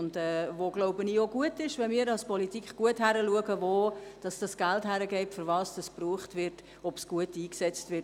Ich glaube, es ist auch gut, wenn wir als politische Behörden gut hinschauen, wo das Geld hinfliesst, wofür es verwendet wird, ob es gut eingesetzt wird.